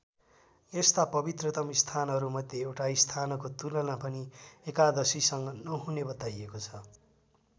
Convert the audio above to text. यस्ता पवित्रतम स्थानहरू मध्ये एउटा स्थानको तुलना पनि एकादशीसँग नहुने बताइएको छ।